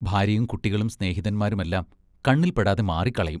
ഭാര്യയും കുട്ടികളും സ്നേഹിതന്മാരുമെല്ലാം കണ്ണിൽപ്പെടാതെ മാറിക്കളയും.